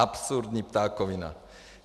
Absurdní ptákovina!